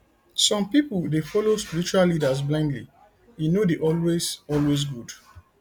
some pipo dey follow spiritual leaders blindly e no dey always always good